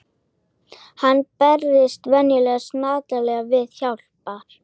Hann bregst að venju snarlega við til hjálpar.